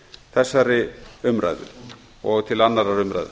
þessari umræðu og til annarrar umræðu